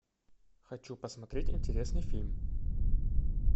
хочу посмотреть интересный фильм